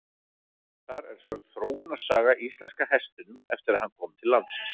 Þar er sögð þróunarsaga íslenska hestinum eftir að hann kom til landsins.